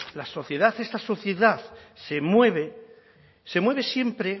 la sociedad esta sociedad se mueve se mueve siempre